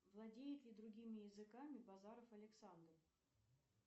владеет ли другими языками базаров александр